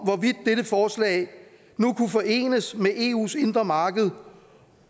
hvorvidt dette forslag nu kunne forenes med eus indre marked